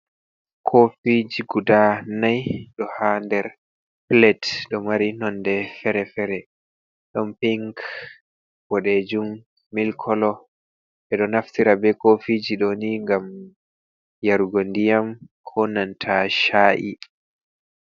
Kofiji guda nai ɗo ha nder plet ɗo mari nonde fere-fere ɗun ping, boɗejun, mil kolo, ɓedo naftira be kofiji ɗoni gam yarugo ndiyam ko nanta sha’i.